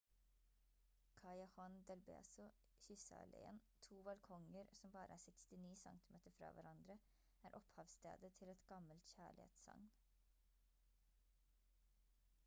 callejon del beso kysse-alléen. to balkonger som bare er 69 centimeter fra hverandre er opphavsstedet til et gammelt kjærlighetssagn